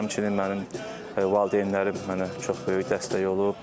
Həmçinin mənim valideynlərim mənə çox böyük dəstək olub.